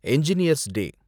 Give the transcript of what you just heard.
engineer's டே